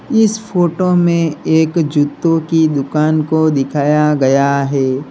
इस फोटो में एक जूतों की दुकान को दिखाया गया है।